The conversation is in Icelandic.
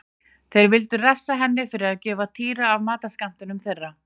Þeir vildu refsa henni fyrir að gefa Týra af matarskammtinum þeirra.